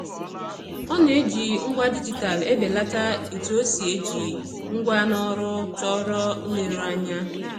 Ọ na-eji ngwa dijitalụ ebelata etu o si eji ngwa n'ọrụ chọrọ nleruanya.